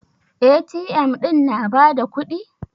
A.T.M ɗin na ba da kuɗi?